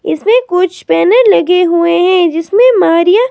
इसमें कुछ बैनर लगे हुए है जीसमें मारिया--